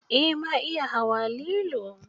Eh ma iya hawa lilo.